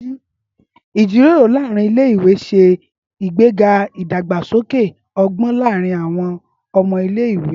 ìjíròrò láàrín ilé ìwé se ìgbéga idagbasoke ogbón láàrín àwọn ọmọ ilé ìwé